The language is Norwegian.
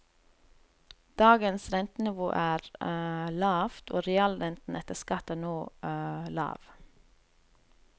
Dagens rentenivå er lavt, og realrenten etter skatt er nå lav.